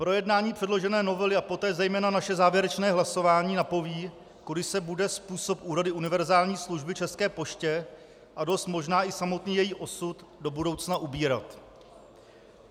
Projednání předložené novely a poté zejména naše závěrečné hlasování napoví, kudy se bude způsob úhrady univerzální služby České poště a dost možná i samotný její osud do budoucna ubírat.